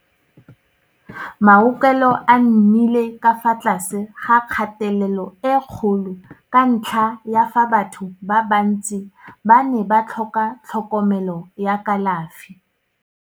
Maaokelo a nnile ka fa tlase ga kgatelelo e kgolo ka ntlha ya fa batho ba bantsi ba ne ba tlhoka tlhokomelo ya kalafi.